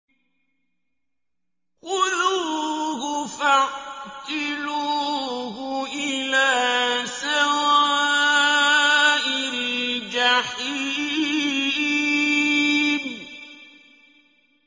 خُذُوهُ فَاعْتِلُوهُ إِلَىٰ سَوَاءِ الْجَحِيمِ